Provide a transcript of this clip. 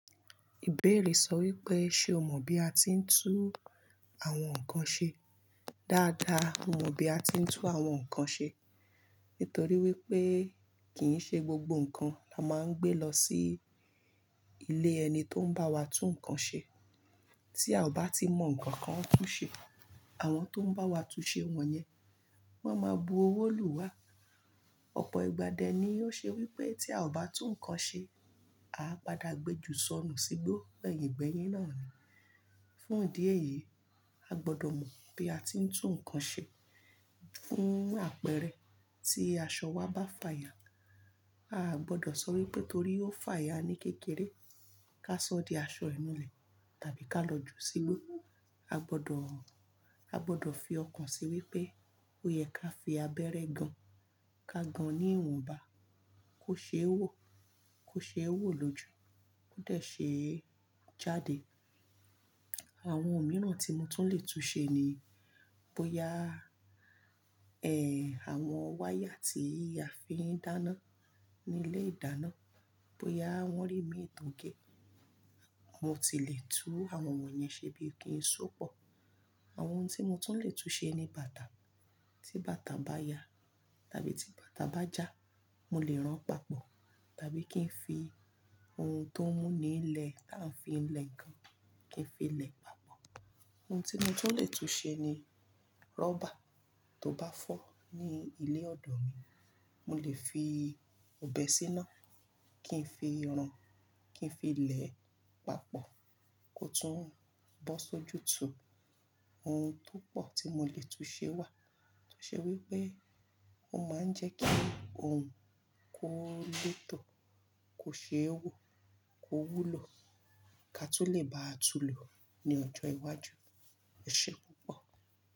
Ìbéèrè sọ wípé, ṣe o mọ bí a ti ń tú àwọn nǹkan ṣe? Dáadáa mo mọ bí a ti ń tú àwọn nǹkan ṣe, nítorí wípé kì í ṣe gbogbo nǹkan la máa ń gbé lọ sí ilé ẹni tó ń bá wa tú nǹkan ṣe. Tí a ò bá ti mọ nǹkan kan tú ṣe, àwọn tó ń bá wa tú ṣe wọ̀nyẹn, wọ́n máa bu owó lù wá. Ọ̀pọ̀ ìgbà dẹ ni yóò ṣe wípé tí a ò bá tú nǹkan ṣe, a ó padà gbe jù sọnù sígbó gbẹ̀yìn gbẹ̀yìn náà ni. Fún ìdí èyí, a gbọ́dọ̀ mọ bí a ti ń tú nǹkan ṣe. Fún àpẹrẹ tí aṣọ wa bá fàya, a gbọ́dọ̀ sọ wípé torí ó fàya ní kékeré, ká sọ di aṣọ ìnulẹ̀ tàbí ká lọ ju sígbó. A gbọ́dọ̀, a gbọ́dọ̀ fi ọkàn sí wípé ó yẹ ká fi abẹ́rẹ́ gan, ká gan ní ìwọ̀nba, kó ṣe é wò, kó ṣe é wò lójú, ó dẹ̀ ṣe é jáde. Àwọn ohun mìíràn tí mo tún lè tú ṣe ni bóya, ẹ, àwọn wáyà tí a fi ń dáná ní ilé ìdáná, bóya wọ́n rí mi ìtàgé. Mo ti lè tú àwọn wọ̀nyẹn ṣe bí i kì í sópọ̀. Àwọn ohun tí mo tún lè tú ṣe ni bàtà. Tí bàtà bá ya tàbí tí bàtà bá já, mo lè rán papọ̀, tàbí kí n fi ohun tó ń mú nílẹ̀ tí à ń fi lẹ ǹkan, kí n fi lẹ papọ̀. Ohun tí mo tún lè tú ṣe ni rọ́bà. Tó bá fọ́ ní ilé ọ̀dọ̀ mi, mo lè fi òbé síná, kí n fi run, kí n fi lè papọ̀ kó tún bọ́ sójú tó. Ohun tó pọ̀ tí mo lè tú ṣe wà, tó ṣe wípé ó máa ń jẹ́ kí ohun kó lóòtọ́, kó ṣe é wò, kó wúlò, ká tó lè bá a tulò ní ọjọ́ iwájú. Ọ̀ṣẹ́ púpọ̀.